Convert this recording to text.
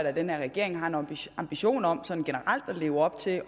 at den her regering har en ambition ambition om sådan generelt at leve op til